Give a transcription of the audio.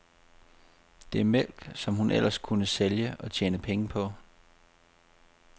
Det er mælk, som hun ellers kunne sælge og tjene penge på.